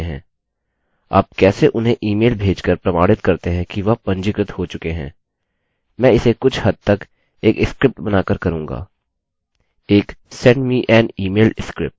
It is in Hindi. आप कैसे उन्हें इमेल भेजकर प्रमाणित करते हैं कि वह पंजीकृत हो चुके हैं मैं इसे कुछ हद तक एक स्क्रिप्ट बनाकर करूँगा एक send me an email script